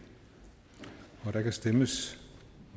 og der kan stemmes